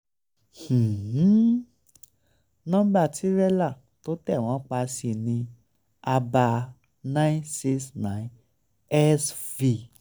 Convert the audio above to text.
um um nọ́ńbà tírẹ́là tó tẹ̀ wọ́n pa sí ní abá nine six nine xv